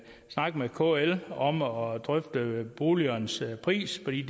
snakke med kl og drøfte boligernes pris for de